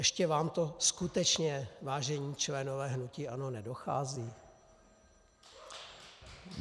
Ještě vám to skutečně, vážení členové hnutí ANO, nedochází?